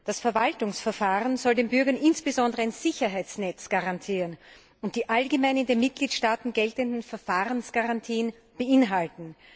Das Verwaltungsverfahren soll den Bürgern insbesondere ein Sicherheitsnetz garantieren und die allgemein in den Mitgliedstaaten geltenden Verfahrensgarantien beinhalten.